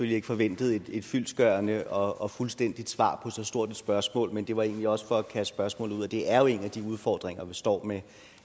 ikke forventede et fyldestgørende og fuldstændigt svar på så stort et spørgsmål men det var egentlig også for at kaste spørgsmålet ud det er jo en af de udfordringer vi står med